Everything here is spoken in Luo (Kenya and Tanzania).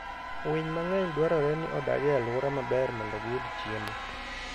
Winy mang'eny dwarore ni odag e alwora maber mondo giyud chiemo.